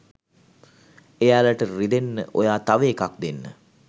එයාලට රිදෙන්න ඔයා තව එකක් දෙන්න